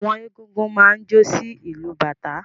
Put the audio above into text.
Àwọn egúngún máa ń jó sí ìlù bàtá.